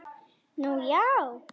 Nú, já?